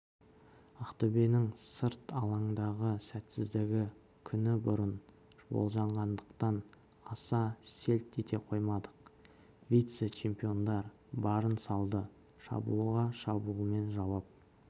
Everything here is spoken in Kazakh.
ақтөбенің сырт алаңдағы сәтсіздігі күнібұрын болжанғандықтан аса селт ете қоймадық вице-чемпиондар барын салды шабуылға шабуылмен жауап